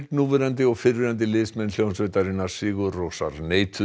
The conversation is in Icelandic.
núverandi og fyrrverandi liðsmenn hljómsveitarinnar sigur Rósar neituðu